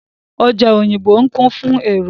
Ọjà Òyìngbò ń kún fún èrò.